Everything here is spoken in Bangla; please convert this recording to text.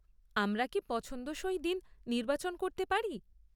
আমরা কি পছন্দসই দিন নির্বাচন করতে পারি?